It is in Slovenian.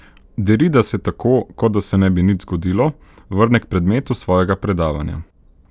Derrida se tako, kot da se ne bi nič zgodilo, vrne k predmetu svojega predavanja.